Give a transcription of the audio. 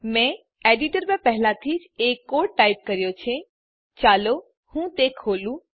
મેં એડીટર પર પહેલાથી જ એક કોડ ટાઈપ કર્યો છે ચાલો હું તે ખોલું